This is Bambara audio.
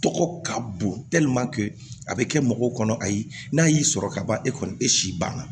Tɔgɔ ka bon a bɛ kɛ mɔgɔw kɔnɔ ayi n'a y'i sɔrɔ kaban e kɔni e si banna